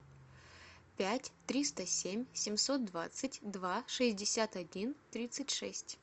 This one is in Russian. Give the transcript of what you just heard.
пять триста семь семьсот двадцать два шестьдесят один тридцать шесть